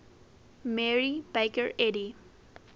mary baker eddy